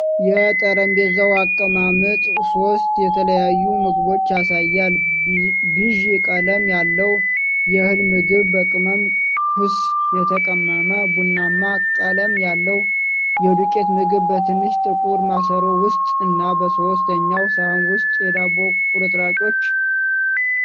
የጠረጴዛው አቀማመጥ ሦስት የተለያዩ ምግቦችን ያሳያል: ቢዥ ቀለም ያለው የእህል ምግብ፣ በቅመም ኩስ የተቀመመ ቡናማ ቀለም ያለው የዱቄት ምግብ በትንሽ ጥቁር ማሰሮ ውስጥ፣ እና በሦስተኛው ሳህን ውስጥ የዳቦ ቁርጥራጮች።